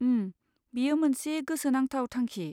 उम, बेयो मोनसे गोसोनांथाव थांखि।